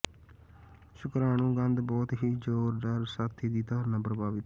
ਸ਼ੁਕ੍ਰਾਣੂ ਗੰਧ ਬਹੁਤ ਹੀ ਜ਼ੋਰਦਾਰ ਸਾਥੀ ਦੀ ਧਾਰਨਾ ਪ੍ਰਭਾਵਿਤ